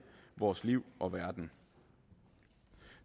vores liv og verden